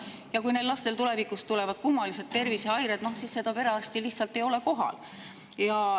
Aga kui neil lastel tulevikus tulevad kummalised tervisehäired, siis seda perearsti lihtsalt ei ole kohal.